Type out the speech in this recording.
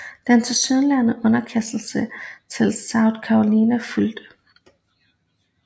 Den tilsyneladende underkastelse til South Carolina fulgte